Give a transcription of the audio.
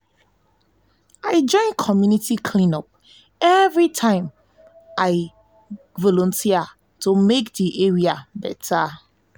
i join community clean up everytime wey i everytime wey i volunteer to make di area better.